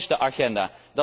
Dat is de agenda.